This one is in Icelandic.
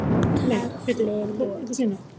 Samtali lokið.